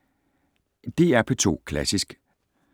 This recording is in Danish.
DR P2 Klassisk